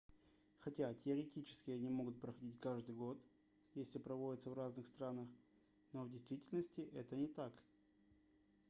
хотя теоретически они могут проходить каждый год если проводятся в разных странах но в действительности это не так